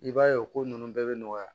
I b'a ye o ko ninnu bɛɛ bɛ nɔgɔya